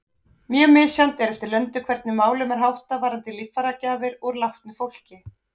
Mjög misjafnt er eftir löndum hvernig málum er háttað varðandi líffæragjafir úr látnu fólki.